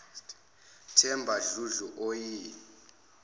themba dludlu oyi